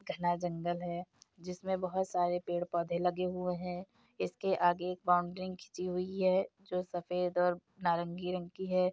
घना जंगल है जिसमें बहुत सारे पेड़-पौधे लगे हुए हैं। इसके आगे एक बाउंड्री खींची हुई है जो सफ़ेद और नारंगी रंग की है।